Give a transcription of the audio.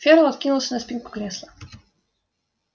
ферл откинулся на спинку кресла